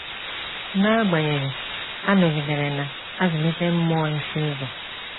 N’agbanyeghị, ha nọgidere na - azụlite mmụọ ịsụ ụzọ.